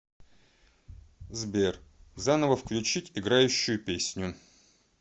сбер заново включить играющую песню